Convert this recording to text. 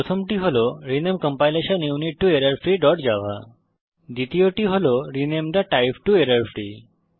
প্রথমটি হল rename compilation unit to errorfreeজাভা দ্বিতীয়টি হল rename the type to error free